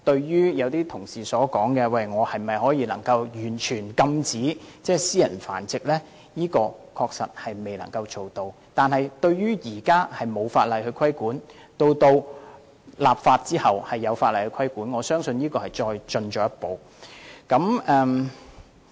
有些同事問這項修訂規例能否完全禁止私人繁殖，現時的確未能做到這點，但在法例生效後便會有法例規管，我相信這是一項進步。